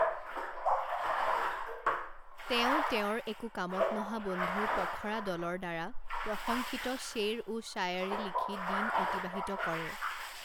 তেওঁ তেওঁৰ একো কামত নহা বন্ধুৰ পখৰা দলৰ দ্বাৰা প্ৰশংসিত শ্বেৰ ও শ্বায়াৰী লিখি দিন অতিবাহিত কৰে।